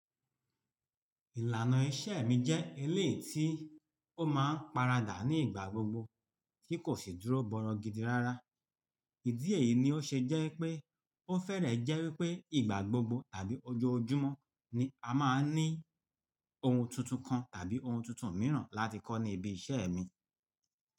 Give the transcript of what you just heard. Ìlànà iṣẹ́ mi jẹ́ eleyi tí ó máa ń paradà ní ìgbà gbogbo tí kò sì dúró bọrọgidi rárá. Ìdí èyí ni ó ṣe jẹ́ pé ó fẹ́rẹ̀ẹ́ jẹ́ wípé ìgbà gbogbo tàbí ọjọ́ ojúmọ́ ni a máa ń ní ohun tuntun kan tàbí ohun tuntun mìíràn láti kọ́ ní ibi iṣẹ́ mi.